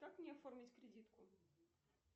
как мне оформить кредитку